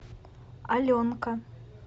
аленка